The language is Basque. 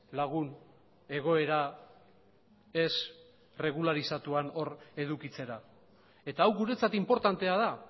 lagun egoera ez erregularizatuan hor edukitzera eta hau guretzat inportantea da